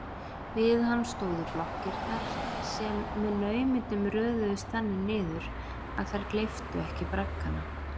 Við hann stóðu blokkirnar, sem með naumindum röðuðust þannig niður að þær gleyptu ekki braggana.